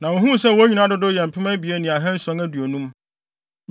na wohuu sɛ wɔn nyinaa dodow yɛ mpem abien ne ahanson aduonum.